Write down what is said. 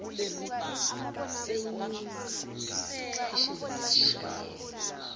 senyuka sikhwishiza sishanela